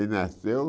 Ele nasceu...